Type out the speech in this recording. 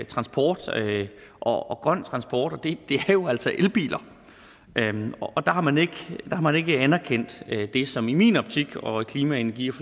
transport og grøn transport og det er jo altså elbiler der har man ikke man ikke anerkendt det som i min optik og i klima energi og